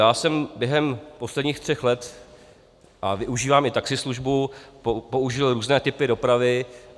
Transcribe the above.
Já jsem během posledních tří let, a využívám i taxislužbu, použil různé typy dopravy.